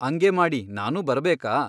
ಅಂಗೇ ಮಾಡಿ ನಾನೂ ಬರಬೇಕಾ ?